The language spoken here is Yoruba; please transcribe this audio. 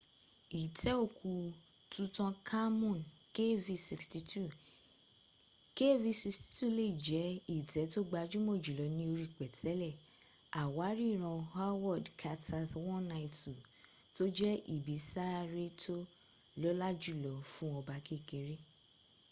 itẹ́ òkú tutankhamun kv62. kv62 lè jẹ́ itẹ́ tó gbajúmọ̀ jùlọ ní orí pẹ̀tẹ́lẹ̀ àwárí ìran howard carter's 192 tó jẹ́ ibi sàárè tó lọ́lá jùlọ fún ọba kékeré